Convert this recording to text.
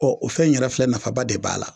Ɔ o fɛn in yɛrɛ filɛ nafaba de b'a la